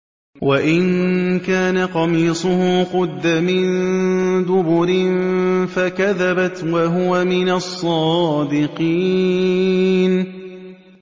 وَإِن كَانَ قَمِيصُهُ قُدَّ مِن دُبُرٍ فَكَذَبَتْ وَهُوَ مِنَ الصَّادِقِينَ